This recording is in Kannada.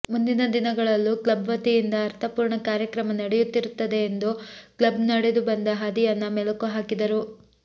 ಮುಂದಿನ ದಿನಗಳಲ್ಲೂ ಕ್ಲಬ್ ವತಿಯಿಂದ ಅರ್ಥಪೂರ್ಣ ಕಾರ್ಯಕ್ರಮ ನಡೆಯುತ್ತಿರುತ್ತೆ ಎಂದು ಕ್ಲಬ್ ನಡೆದು ಬಂದ ಹಾದಿಯನ್ನ ಮೆಲುಕು ಹಾಕಿದರು